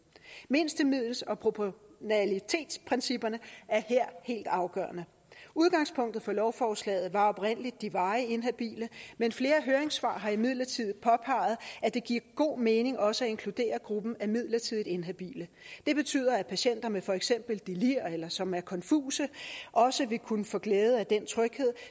mindstemiddels og proportionalitetsprincipperne er her helt afgørende udgangspunktet for lovforslaget var oprindelig de varigt inhabile men flere høringssvar har imidlertid påpeget at det giver god mening også at inkludere gruppen af midlertidigt inhabile det betyder at patienter med for eksempel delir eller patienter som er konfuse også vil kunne få glæde af den tryghed